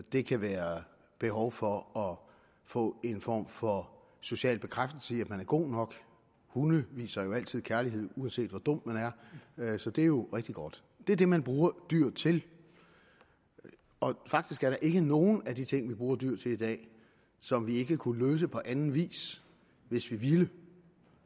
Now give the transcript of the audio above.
det kan være behovet for at få en form for social bekræftelse man er god nok hunde viser jo altid kærlighed uanset hvor dum man er så det er jo rigtig godt det er det man bruger dyr til og faktisk er der ikke nogen af de ting vi bruger dyr til i dag som vi ikke kunne løse på anden vis hvis vi ville